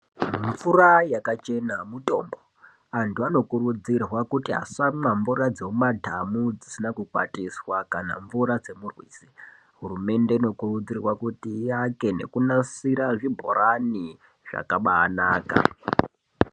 Mvura yakachena mutombo. Vantu vanokurudzirwa kuti vasamwa mvura dzemumadhamu dzisina kukwatiswa kana mvura dzemurwizi. Hurumende inokurudzirwa kuti ivake nekunasira zvibhorani, zvakabaanaka.